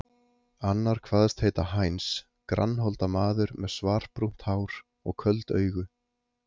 Annar kvaðst heita Heinz, grannholda maður með svarbrúnt hár og köld augu.